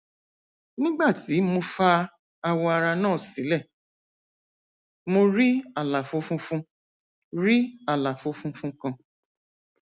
nígbà tí mo fa awọ ara náà sílẹ mo rí àlàfo funfun rí àlàfo funfun kan